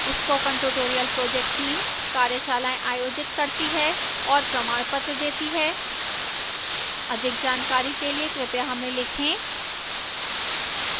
spoken tutorial project team कार्यशालाएँ आयोजित करती है और प्रमाणपत्र देती है अधिक जानकारी के लिए कृपया हमें लिखें